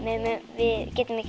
við getum ekki